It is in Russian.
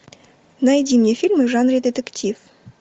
найди мне фильмы в жанре детектив